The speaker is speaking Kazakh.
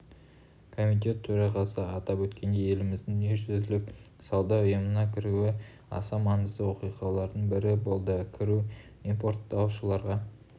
комитет төрағасы атап өткендей еліміздің дүниежүзілік сауда ұйымына кіруі аса маңызды оқиғалардың бірі болды кіру импорттаушыларға